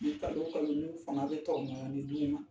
Ni kalo kalo ni fanga bɛ tɔrɔmɔɲɔnni di ne ma.